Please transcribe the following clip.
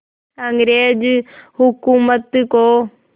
अंग्रेज़ हुकूमत को